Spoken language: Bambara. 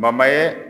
ye